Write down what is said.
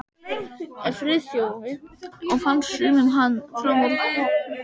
Friðþjófi og fannst sumum hann fram úr hófi langorður.